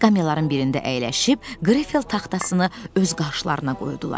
Skamyaların birində əyləşib, grifeld taxtasını öz qarşılarına qoydular.